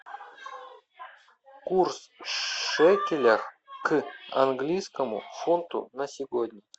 курс шекеля к английскому фунту на сегодня